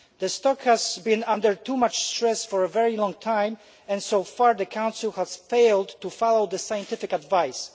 The stock has been under too much stress for a very long time, and so far the Council has failed to follow the scientific advice.